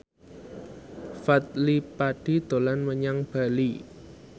Fadly Padi dolan menyang Bali